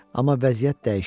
Amma vəziyyət dəyişmədi,